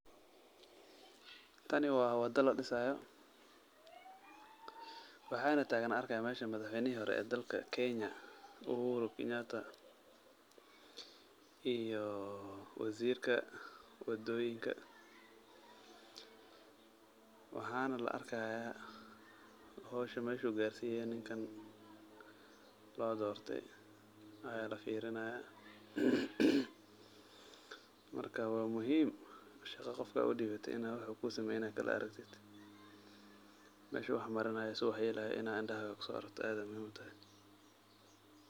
Tani waa wada ladhisaayo. Waxaana taagan arka hayaa meeshan madaxweynihi hore dalka Kenya Uhuru Kenyata iyo waziirka wadooyinka. Waxaana la arka hayaa howsha meesh uu gaarsiyeen ninkan loodortay yaa lafiirinayaa. Marka waa muhiim shaqo qoka aad u dhiibatay inaa wax uu kuu sameeynaayo kala araktid. Meesha wax marinaayo sidu wax yeelaayo inaa hindhahaada kusoo araktid aad ayaa muhiim utahay.